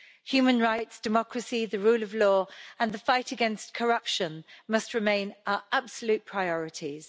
Human rights, democracy, the rule of law and the fight against corruption must remain our absolute priorities.